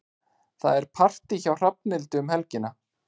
Það er partí hjá Hrafnhildi um helgina.